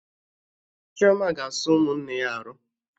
Chioma ga-asa ụmụnne ya arụ